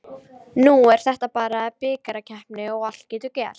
Nú er þetta bara bikarkeppni og allt getur gerst.